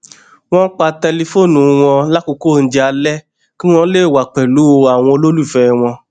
wón pa tẹlifóònù wọn lákòókò oúnjẹ alé kí wón lè wà pèlú àwọn olólùfẹ wọn